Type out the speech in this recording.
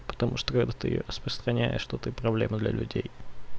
потому что когда ты распространяешь то ты проблема для людей